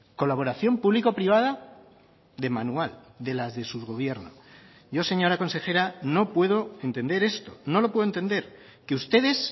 colaboración público privada de manual de las de su gobierno yo señora consejera no puedo entender esto no lo puedo entender que ustedes